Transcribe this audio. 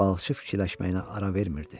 Balıqçı fikirləşməyinə ara vermirdi.